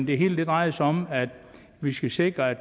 det hele drejer sig om at vi skal sikre at